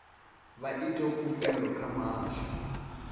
vha ite khumbelo kha muhasho